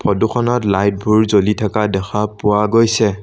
Photo খনত light বোৰ জ্বলি থকা দেখা পোৱা গৈছে।